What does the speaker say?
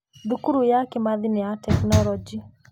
Thukuru ya Kimathi nĩ ya tekinoronjĩ.